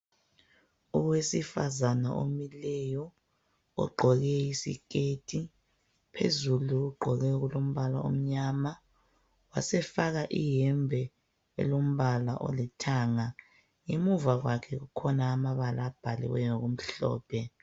Owesifazane omileyo ogqoke isiketi phezulu, ugqoke okulombala omnyama wasefaka iyembe elombala olithanga. Emuva kwakhe kukhona amabala abhalwe ngokumhlophe.